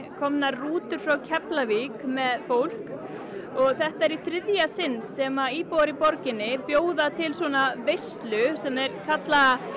komnar rútur frá Keflavík með fólk þetta er í þriðja sinn sem íbúar í borginni bjóða til svona veislu sem þeir kalla